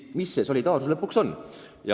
Mis see solidaarsus lõpuks on?